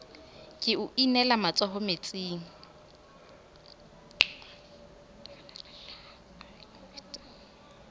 ke o inele matsoho metsing